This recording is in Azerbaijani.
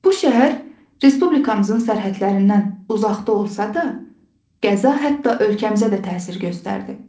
Bu şəhər respublikamızın sərhədlərindən uzaqda olsa da, qəza hətta ölkəmizə də təsir göstərdi.